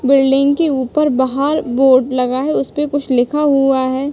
Building के उपर बाहर बोर्ड लगा है। उसपे कुछ लिखा हुआ है।